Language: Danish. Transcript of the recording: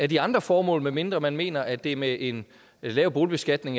de andre formål medmindre man mener at det er med en lav boligbeskatning